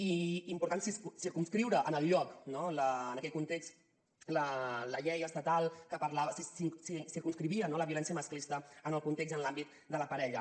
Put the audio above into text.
i important circumscriure en el lloc no en aquell context la llei estatal que circumscrivia no la violència masclista en el context i en l’àmbit de la parella